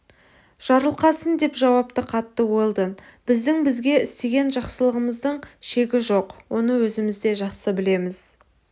жарылқасын деп жауап қатты уэлдон біздің бізге істеген жақсылығыңыздың шегі жоқ оны өзіміз де жақсы білеміз